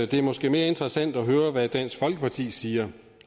det er måske mere interessant at høre hvad dansk folkeparti siger